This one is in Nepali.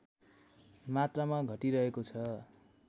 मात्रामा घटिरहेको छ